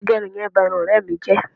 Agẹrun yẹn ba irun ọ̀rẹ́ mi jẹ